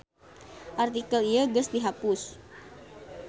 Artikel ieu geus dihapus.